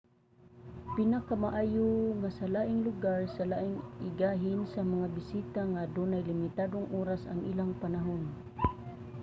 pinakamaayo nga sa laing lugar na lang igahin sa mga bisita nga adunay limitadong oras ang ilang panahon